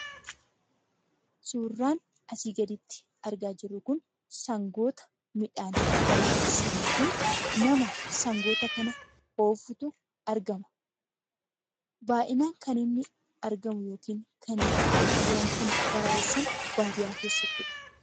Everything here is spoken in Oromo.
Suuraan asii gaditti argaa jirru kun, sangoota midhaan baraayessanii fi nama sangoota kana oofutu argama. Baay'inaan kan inni argamu yookiin kan loon kun baraayessan baadiyaa keessattidha.